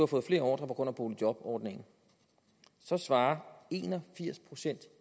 fået flere ordrer på grund af boligjobordningen så svarer en og firs procent